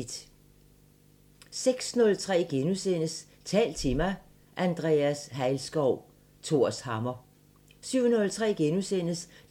06:03: Tal til mig – Andrea Hejlskov: Thors hammer * 07:03: